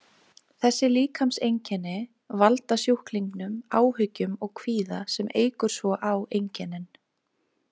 Þessi líkamseinkenni valda sjúklingnum áhyggjum og kvíða sem eykur svo á einkennin.